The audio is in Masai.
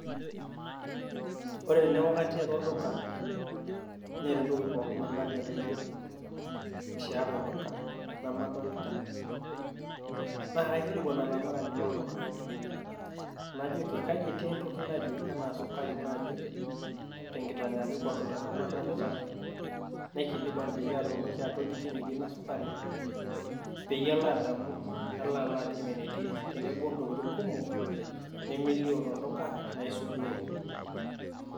Ore teneeku katii atua olduka Neeta entoki naba enaa enayie namadolita naa kaikilikuan olamirani lolduka najoki, kaji etii entoki naje enaa sukari naaji tenkitanyaanyukoto tenemasolita , naikilikuan peyie aatumoki atoliki enetii Ina sukari peyie alo adamu nalo ayielou enetii tenebo Intokitin kumok nemelio tolduka naisudoro.